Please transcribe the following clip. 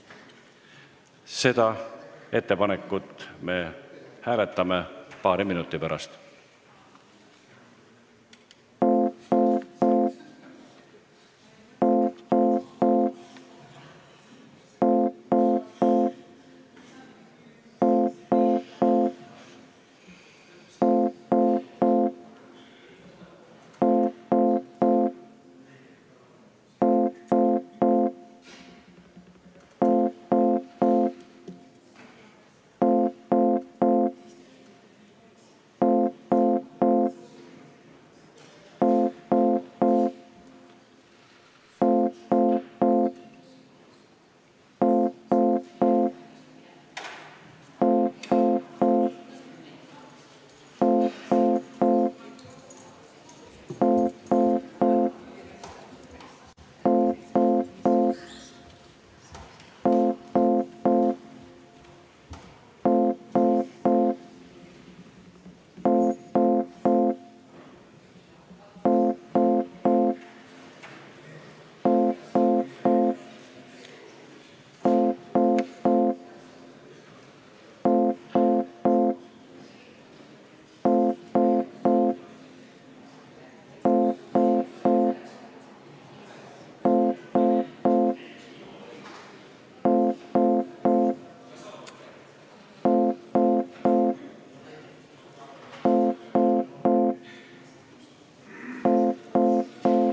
Seda ettepanekut me hääletame paari minuti pärast.